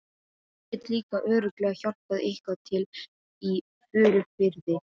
Ég get líka örugglega hjálpað eitthvað til í Furufirði.